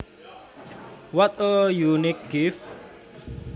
What a unique gift